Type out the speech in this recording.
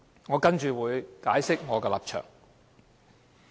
我接下來會解釋我的立場。